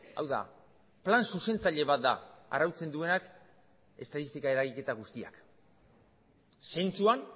hau da plan zuzentzaile bat da arautzen duenak estatistika eragiketa guztiak zentzuan